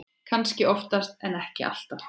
Kannski oftast en ekki alltaf.